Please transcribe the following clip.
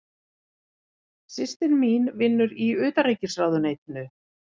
Systir mín vinnur í Utanríkisráðuneytinu.